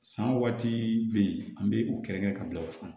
San waati be yen an be u kɛlɛkɛ ka bila o kan